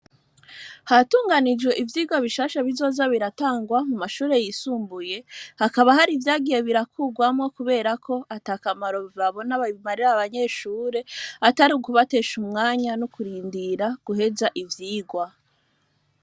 Hatunganijwe ivyigwa bishasha bizoza biratangwa mu mashure yisumbuye hakaba hari ivyagiye birakurwamwo, kubera ko atiakamaro babona ababimarira abanyeshure atari ukubatesha umwanya no kurindira guheza ivyigwa.